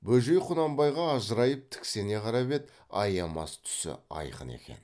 бөжей құнанбайға ажырайып тіксене қарап еді аямас түсі айқын екен